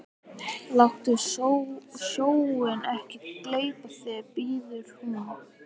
Láttu sjóinn ekki gleypa þig, biður hún.